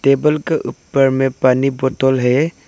Table का ऊपर में पानी बोतल है।